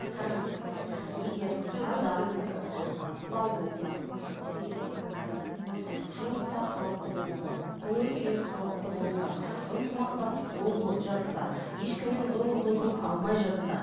қараңыз егер адам сау болса психикасы бір жұмыста қалыпты болса көңіл күйі қалыпты болса ынтымақтастық болып жатса ешкімнен зорлық зомбылық алмай жатса